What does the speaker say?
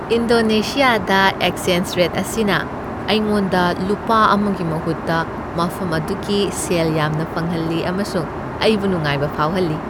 ꯏꯟꯗꯣꯅꯦꯁꯤꯌꯥꯗ exchange rate ꯑꯁꯤꯅ ꯑꯩꯉꯣꯟꯗ ꯂꯨꯄꯥ ꯑꯃꯒꯤ ꯃꯍꯨꯠꯇ ꯃꯐꯝ ꯑꯗꯨꯒꯤ ꯁꯦꯜ ꯌꯥꯝꯅ ꯐꯪꯍꯜꯂꯤ ꯑꯃꯁꯨꯡ ꯑꯩꯕꯨ ꯅꯨꯡꯉꯥꯏꯕ ꯐꯥꯎꯍꯜꯂꯤ꯫